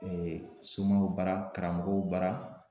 somow bara karamɔgɔw bara